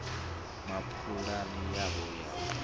na pulani yawo ya u